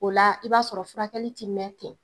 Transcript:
O la i b'a sɔrɔ furakɛli ti mɛn ten.